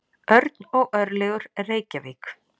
Örn og Örlygur, Reykjavík.